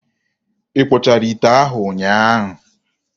Ị kpụchara ite ahụ ụnyaahụ?